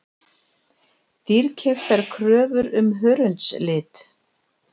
Dýrkeyptar kröfur um hörundslit